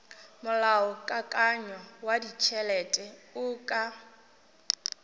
molaokakanywa wa ditšhelete o ka